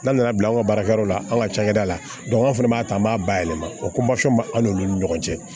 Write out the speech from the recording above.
N'an nana bi an ka baarakɛyɔrɔ la an ka cakɛda la an fɛnɛ b'a ta an b'a bayɛlɛma o bɛ an n'olu ni ɲɔgɔn cɛ